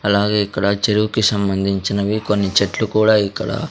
అలాగే ఇక్కడ చెరువుకు సంబంధించినవి కొన్ని చెట్లు కూడా ఇక్కడ--